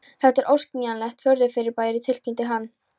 Þetta er óskiljanlegt furðufyrirbæri tilkynnti hann.